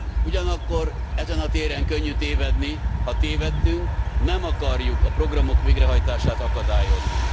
Ugyanakkor ezen a téren könnyű tévedni, ha tévedtünk, nem akarjuk a programok végrehajtását akadályozni.